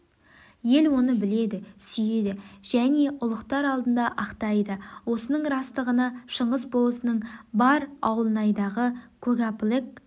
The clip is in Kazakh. ел оны біледі сүйеді және ұлықтар алдында ақтайды осының растығына шыңғыс болысының бар ауылнайдағы көгапілік